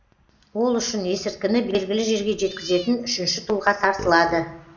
ол үшін есірткіні белгілі жерге жеткізетін үшінші тұлға тартылады